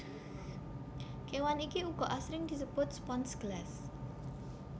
Kewan iki uga asring disebut spons gelas